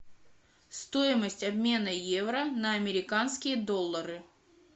стоимость обмена евро на американские доллары